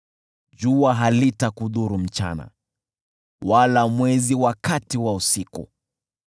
jua halitakudhuru mchana, wala mwezi wakati wa usiku.